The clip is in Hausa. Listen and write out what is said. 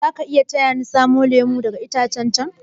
Zaki taya ni samo lemu daga itacen chan?